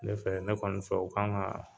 Ne fɛ ne kɔni fɛ , o kan ka